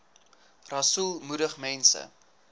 rasool moedig mense